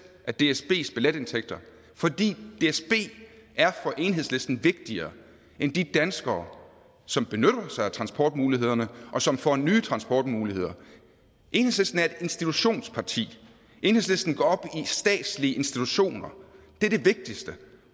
af dsbs billetindtægter fordi dsb er for enhedslisten vigtigere end de danskere som benytter sig af transportmulighederne og som får nye transportmuligheder enhedslisten er et institutionsparti enhedslisten går op i statslige institutioner det er det vigtigste